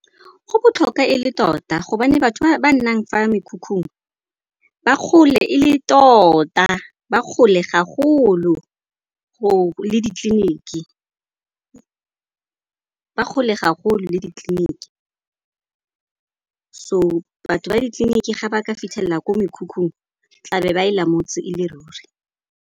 Go botlhokwa e le tota gobane batho ba ba nnang fa mekhukhung ba kgole e le tota, ba kgole gagolo le ditleliniki. So batho ba ditleliniki ga ba ka fitlhelela ko mekhukhung tla be ba e lamotse e le ruri.